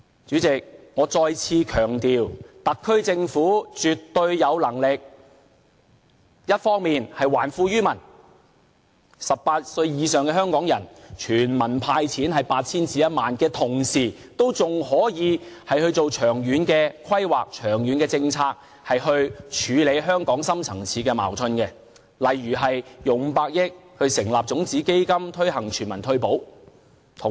主席，我再次強調特區政府絕對有能力，一方面還富於民，向18歲以上的香港人全民"派錢 "8,000 元至1萬元；另一方面，同時仍可以進行長遠規劃和政策，以處理香港的深層次矛盾，例如撥款500億元成立種子基金，推行全民退保。